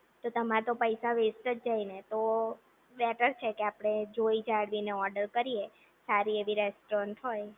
તો તમારે તો પૈસા વેસ્ટ જ જાય ને તો બેટર છે કે આપણે જોઈ જાણીને ઓર્ડર કરીએ સારી એવી રેસ્ટોરન્ટ હોય